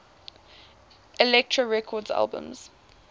elektra records albums